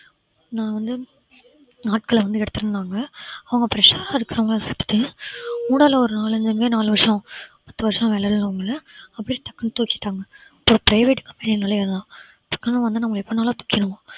நான் வந்து ஆட்களை வந்து எடுத்திருந்தாங்க அவங்க fresh அ இருக்கறவங்கள நாலு வருஷம் பத்து வருஷம் வேலைல உள்ளவங்கள அப்படியே டக்குன்னு தூக்கிட்டாங்க so private company ன்னலே அதான் டக்குன்னு வந்து நம்ம எப்பனாலும் தூக்கிடுவான்